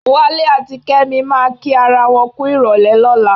Wálé àti Kẹ́mi máa kí ara wọn kú ìrọ̀lẹ́ lọ́la.